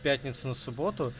пятница на субботу